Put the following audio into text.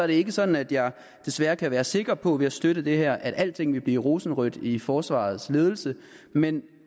ikke sådan at jeg desværre kan være sikker på ved at støtte det her at alting vil blive rosenrødt i forsvarets ledelse men